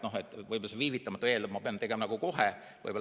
Võib-olla see "viivitamata" eeldab, et ma pean tegema kohe.